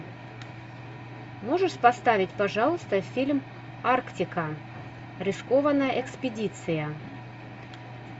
можешь поставить пожалуйста фильм арктика рискованная экспедиция